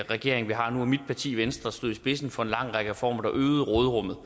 regering vi har nu og mit parti venstre stod i spidsen for en lang række reformer der øgede råderummet